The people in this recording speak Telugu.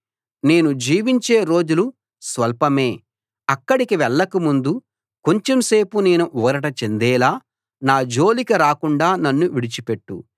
నేను జీవించే రోజులు స్వల్పమే అక్కడికి వెళ్లక ముందు కొంచెం సేపు నేను ఊరట చెందేలా నా జోలికి రాకుండా నన్ను విడిచిపెట్టు